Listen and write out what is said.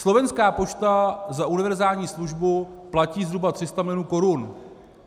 Slovenská pošta za univerzální službu platí zhruba 300 mil. korun.